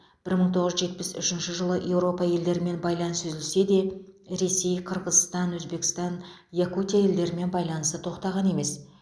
бір мың тоғыз жүз жетпіс үшінші жылы еуропа елдерімен байланыс үзілсе де ресей қырғызстан өзбекстан якутия елдерімен байланысы тоқтаған емес